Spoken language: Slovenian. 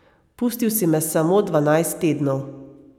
Pustil si me samo dvanajst tednov.